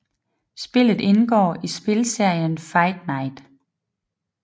Spillet indgår i spilserien Fight Night